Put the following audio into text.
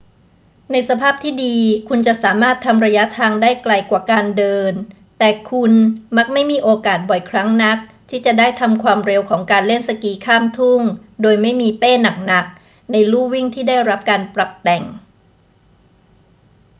ในสภาพที่ดีคุณจะสามารถทำระยะทางได้ไกลกว่าการเดิน แต่คุณมักไม่มีโอกาสบ่อยครั้งนักที่จะได้ทำความเร็วของการเล่นสกีข้ามทุ่งโดยไม่มีเป้หนัก ๆ ในลู่วิ่งที่ได้รับการปรับแต่ง